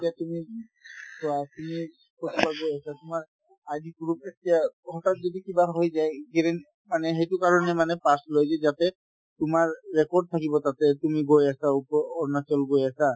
এতিয়া তুমি চোৱা তুমি তোমাৰ ID proof এতিয়া হঠাৎ যদি কিবা হৈ যায় মানে সেইটো কাৰণে মানে pass লই যি যাতে তোমাৰ record থাকিব তাতে তুমি গৈ আছা ওপ~ অৰুণাচল গৈ আছা